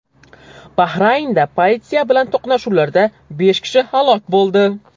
Bahraynda politsiya bilan to‘qnashuvlarda besh kishi halok bo‘ldi.